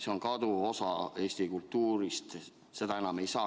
See on kaduv osa Eesti kultuurist, seda enam ei saa.